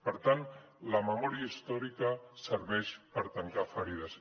per tant la memòria històrica serveix per tancar ferides